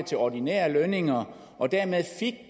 til ordinære lønninger og dermed fik